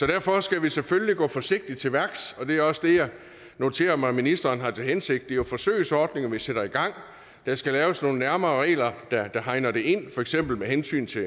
derfor skal vi selvfølgelig gå forsigtigt til værks og det er også det jeg noterer mig ministeren har til hensigt jo forsøgsordninger vi sætter i gang der skal laves nogle nærmere regler der hegner det inden for eksempel med hensyn til